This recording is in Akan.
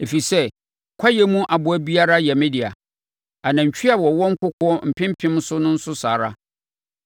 ɛfiri sɛ kwaeɛ mu aboa biara yɛ me dea, anantwie a wɔwɔ nkokoɔ mpempem so nso saa ara.